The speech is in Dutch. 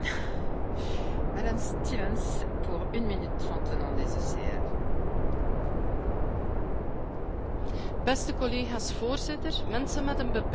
Voorzitter, mensen met een beperking kunnen enkel ten volle deelnemen aan de maatschappij, wanneer zij ook kunnen deelnemen aan het politieke leven zoals elke andere EU burger.